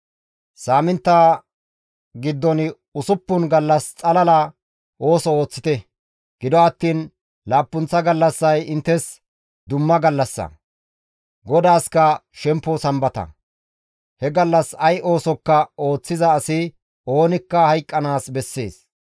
Saamintta giddon usuppun gallas xalala ooso ooththite; gido attiin laappunththa gallassay inttes dumma gallassa; GODAASKA shempo Sambata. He gallas ay oosokka ooththiza asi oonikka hayqqanaas bessees.